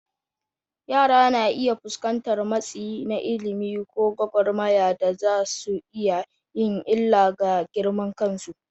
Yara na iya fuskantar matsi na ilimi ko gwagwarmaya da za su iya yin illa ga girman kansu.